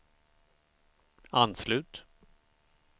anslut